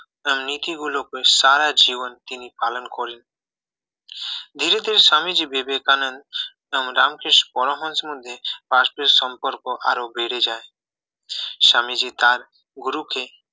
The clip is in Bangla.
নীতিগুলোকে সারা জীবন তিনি পালন করেন ধীরে ধীরে স্বামীজি বিবেকানন্দ রামকৃষ্ণ পরমহংসের মধ্যে পারস্পরিক সম্পর্ক আরো বেড়ে যায় স্বামীজি তার গুরুকে